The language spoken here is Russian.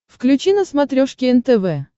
включи на смотрешке нтв